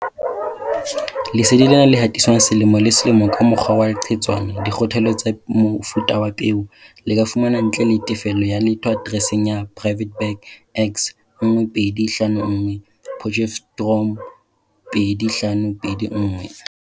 Lesedi lena le hatiswang selemo le selemo ka mokgwa wa leqhetswana, dikgothaletso tsa mofuta wa peo, le ka fumanwa ntle le tefello ya letho atereseng ya Private Bag X1251, Potchefstroom, 2521.